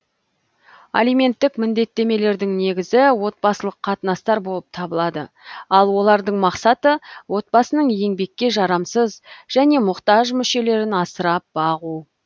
алименттік міндеттемелердің негізі отбасылық қатынастар болып табылады ал олардың мақсаты отбасының еңбекке жарамсыз және мұктаж мүшелерін асырап бағу